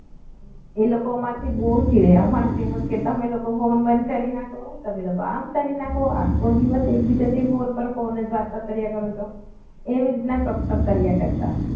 એ લોકો આમાંથી બહુ જ ફીરે? અમારે જેમ જ કે તમે લોકો ફોન બંધ કરી નાખો તમે તો કામ કરી નાખો આખો દિવસ ફોનથી ફોન જ વાતો કર્યા કરો છો એવી રીતના ટોકટોક કર્યા કરતા હોય